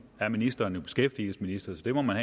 er ministeren jo beskæftigelsesminister så det må man